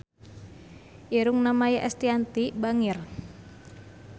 Irungna Maia Estianty bangir